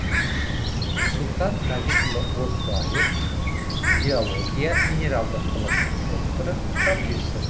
сұлтан мәжитұлы оздоев геология минералдық ғылымының докторы профессор